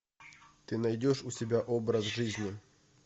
ты найдешь у себя образ жизни